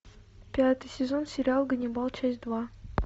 пятый сезон сериал ганнибал часть два